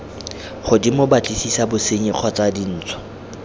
godimo batlisisa bosenyi kgotsa dintsho